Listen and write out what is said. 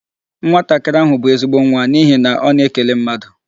Nwatakịrị ahụ bụ ezigbo nwa n'ihi na ọ na-ekele mmadụ.